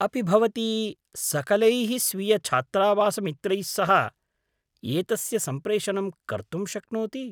अपि भवती सकलैः स्वीयछात्रावासमित्रैः सह एतस्य सम्प्रेषणं कर्तुं शक्नोति?